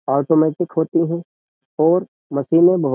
automatic होती हैं और मशीनें बहो --